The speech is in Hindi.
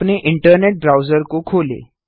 अपने इंटरनेट ब्राउजर को खोलें